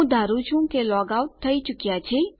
હું ધારું છું કે આપણે લોગ આઉટ થઇ ચુક્યા છીએ